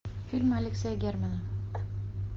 фильм алексея германа